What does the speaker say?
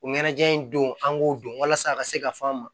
O ɲɛnajɛ in don an k'o don walasa a ka se ka fɔ an ma